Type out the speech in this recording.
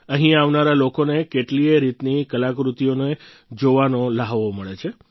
અહીં આવનારા લોકોને કેટલીયે રીતની કલાકૃતિઓને જોવાનો લ્હાવો મળે છે